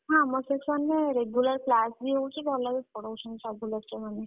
ହଁ ଆମ section ରେ regular class ବି ହଉଛି। ଭଲ ବି ପଢଉଛନ୍ତି ସବୁ lecturer ମାନେ।